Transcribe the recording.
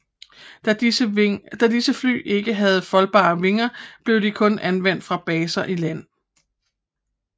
Da disse fly ikke havde foldbare vinger blev de kun anvendt fra baser i land